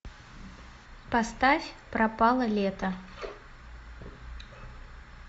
поставь пропало лето